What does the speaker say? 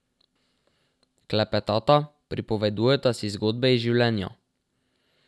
Klepetata, pripovedujeta si zgodbe iz življenja.